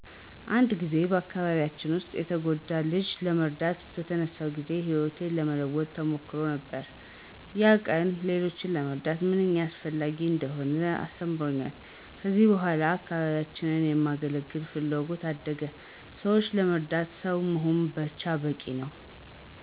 አንድ ጊዜ በአካባቢያችን ውስጥ የተጎዳ ልጅ ለመርዳት በተነሳሁ ጊዜ ሕይወቴን የለወጠ ተሞክሮ ነበር። ያ ቀን ሌሎችን መርዳት ምንኛ አስፈላጊ እንደሆነ አስተምሮኛል። ከዚያ በኋላ አካባቢዬን የማገለገል ፍላጎቴ አደገ። ሰዎችን ለመርዳት ሰው መሆናችን ብቻ በቂ ነው።